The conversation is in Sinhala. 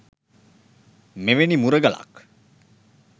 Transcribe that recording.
මෙවැනි මුරගලක්